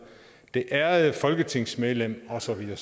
det ærede folketingsmedlem og så videre